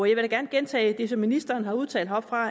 jeg vil gerne gentage det som ministeren har udtalt heroppefra